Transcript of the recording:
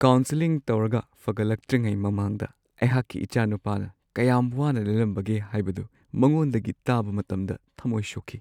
Counselling ꯇꯧꯔꯒ ꯐꯒꯠꯂꯛꯇ꯭ꯔꯤꯉꯩ ꯃꯃꯥꯡꯗ ꯑꯩꯍꯥꯛꯀꯤ ꯏꯆꯥꯅꯨꯄꯥꯅ ꯀꯌꯥꯝ ꯋꯥꯅ ꯂꯦꯜꯂꯝꯕꯒꯦ ꯍꯥꯏꯕꯗꯨ ꯃꯉꯣꯟꯗꯒꯤ ꯇꯥꯕ ꯃꯇꯝꯗ ꯊꯝꯃꯣꯏ ꯁꯣꯛꯈꯤ ꯫